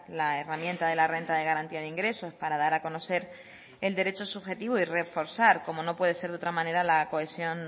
la herramienta de la renta de garantía de ingresos para dar a conocer el derecho subjetivo y reforzar como no puede ser de otra manera la cohesión